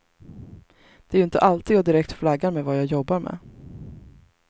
Det är ju inte alltid jag direkt flaggar med vad jag jobbar med.